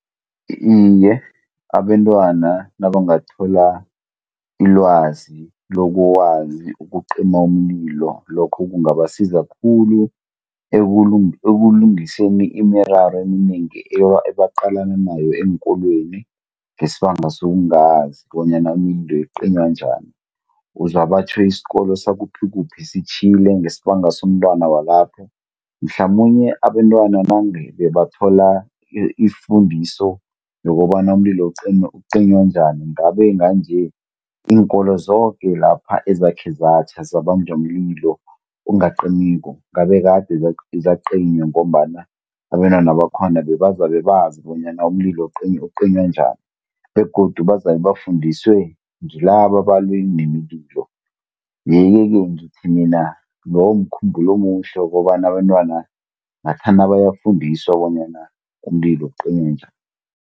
Iye abentwana nabangathola ilwazi lokwazi ukucima umlilo, lokho kungabasiza khulu ekulungiseni imiraro eminengi ebaqalane nayo eenkolweni, ngesibanga sokungazi bonyana imililo icinywa njani. Uzwa batjho isikolo sakuphi-kuphi sitjhile ngesibanga somntwana walapho, mhlamunye abentwana nange bebathola ifundiso yokobana umlilo ucinywa njani nga nje, iinkolo zoke lapha ezakhe zatjha zabanjwa mlilo ongacimiko, ngabe kade zacinywa ngombana abentwana bakhona bebazabe bazi bonyana umlilo ucinywa njani, begodu bazabe bafundiswe ngilabo abalwi nemililo. Iye-ke ke mina ngithi loyo mkhumbulo omuhle wokobana abentwana ngathana bayafundiswa bonyana umlilo ucinywa njani.